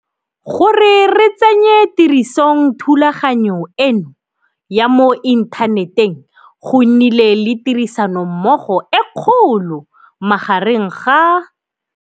Gore re tsenye tirisong thulaganyo eno ya mo inthaneteng go nnile le tirisanommogo e kgolo magareng ga